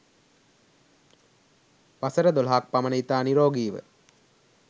වසර 12 ක් පමණ ඉතා නිරෝගීව